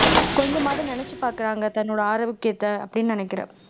கொஞ்சமாவது நினைச்சுப் பார்க்கிறாங்க தன்னோட ஆரோக்கியத்தை அப்படின்னு நினைக்கிறேன்